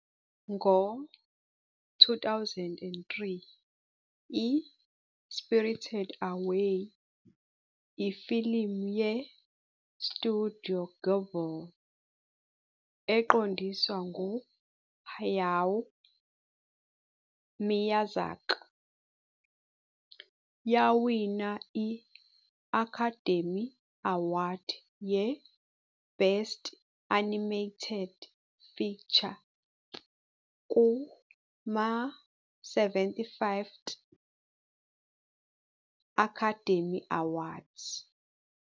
Ngo-2003, i- "Spirited Away", ifilimu ye- Studio Ghibli eqondiswa ngu- Hayao Miyazaki, yawina i- Academy Award ye-Best Animated Feature kuma- 75th Academy Awards.